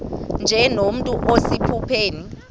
nje nomntu osephupheni